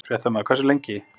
Fréttamaður: Hversu lengi?